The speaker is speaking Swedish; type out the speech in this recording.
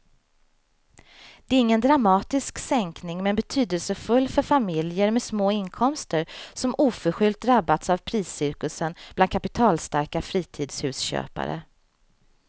Det är ingen dramatisk sänkning men betydelsefull för familjer med små inkomster som oförskyllt drabbats av priscirkusen bland kapitalstarka fritidshusköpare.